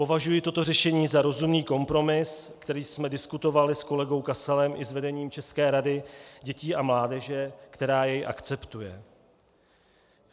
Považuji toto řešení za rozumný kompromis, který jsme diskutovali s kolegou Kasalem i s vedením České rady dětí a mládeže, která jej akceptuje.